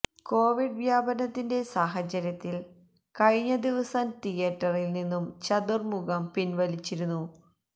Covid വ്യാപനത്തിന്റെ സാഹചര്യത്തില് കഴിഞ്ഞ ദിവസം തിയറ്ററില് നിന്നും ചതുര്മുഖം പിന്വലിച്ചിരുന്നു